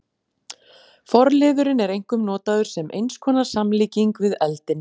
Forliðurinn er einkum notaður sem eins konar samlíking við eldinn.